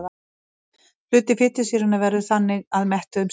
Hluti fitusýranna veður þannig að mettuðum sýrum.